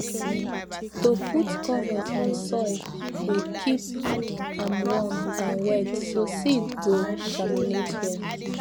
to put cover on soil dey keep am warm and wet so seed go germinate well